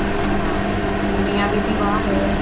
ਹਾਂ ਉਹ ਮੀਆਂ ਬੀਬੀ ਬਾਹਰ ਨੇ